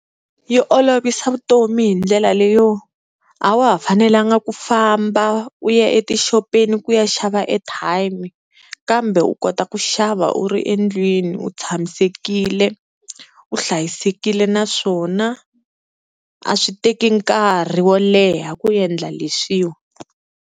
Yi olovisa vutomi hi ndlela leyo a wa ha fanelanga ku famba u ya etixopeni ku ya xava airtime, kambe u kota ku xava u ri endlwini u tshamisekile u hlayisekile naswona a swi teki nkarhi wo leha ku endla leswiwa.